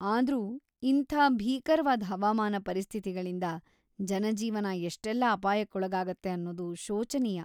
ಆದ್ರೂ ಇಂಥ ಭೀಕರ್ವಾದ್ ಹವಾಮಾನ ಪರಿಸ್ಥಿತಿಗಳಿಂದ ಜನಜೀವನ ಎಷ್ಟೆಲ್ಲ ಅಪಾಯಕ್ಕೊಳಗಾಗತ್ತೆ ಅನ್ನೋದು ಶೋಚನೀಯ.